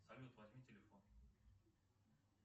салют возьми телефон